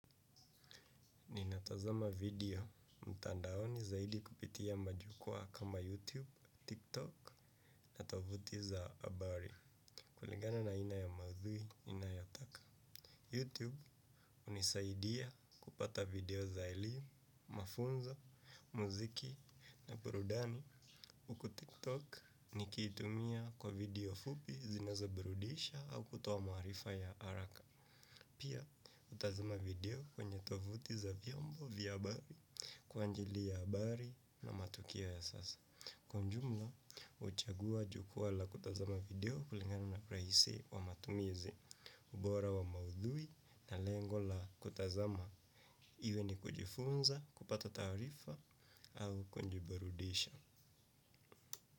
Ninatazama video mtandaoni zaidi kupitia majukwa kama YouTube, TikTok na tovuti za habari. Kuligana na aina ya maudhui inayotaka YouTube hunisaidia kupata video za elimu, mafunzo, muziki na burudani kwa tiktok nikiitumia kwa video fupi zinazobirudisha au kutoa maarifa ya haraka. Pia natazama video kwenye tovuti za vyombo vya habari. Kwa ajili ya habari na matukio ya sasa. Kwa ujumla, huchagua jukwaa la kutazama video kulingana na urahisi wa matumizi bora wa maudhui na lengo la kutazama. Iwe ni kujifunza, kupata taarifa au kujiburudisha.